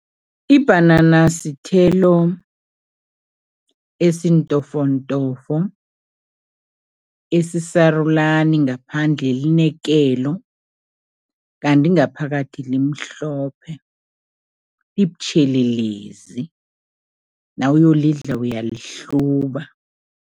Ibhanana sithelo esintofontofo, esisarulani. Ngaphandle line kelo kanti ngaphakathi limhlophe, libutjhelelezi, nawuyolidla uyalihluba.